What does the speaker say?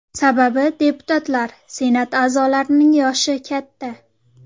Sababi deputatlar, Senat a’zolarining yoshi katta.